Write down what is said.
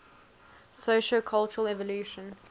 sociocultural evolution